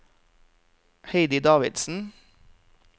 Heidi Davidsen